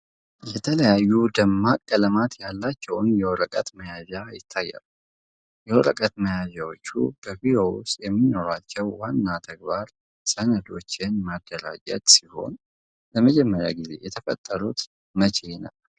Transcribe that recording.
የተለያዩ ደማቅ ቀለማት ያላቸው የወረቀት መያዣ ይታያሉ። የወረቀት መያዣዎች በቢሮ ውስጥ የሚኖራቸው ዋና ተግባር ሰነዶችን ማደራጀት ሲሆን፣ ለመጀመሪያ ጊዜ የተፈጠሩት መቼ ነበር?